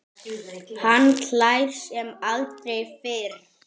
Hann hlær sem aldrei fyrr.